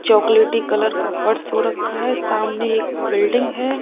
चॉकलेटी कलर का फर्श हो रखा है सामने एक बिल्डिंग है।